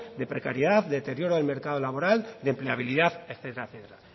de precariedad de deterioro del mercado laboral de empleabilidad etcétera etcétera